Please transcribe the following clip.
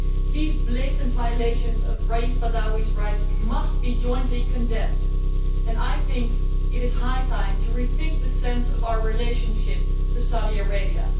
These blatant violations of Raïf Badawi's rights must be jointly condemned and I think it is high time to rethink the sense of our relationship to Saudi Arabia.